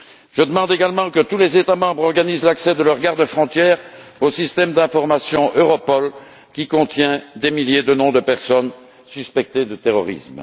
Je demande également que tous les États membres organisent l'accès de leurs gardes frontières au système d'informations Europol, qui contient les noms de milliers de personnes soupçonnées de terrorisme.